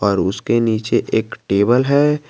और उसके नीचे एक टेबल है।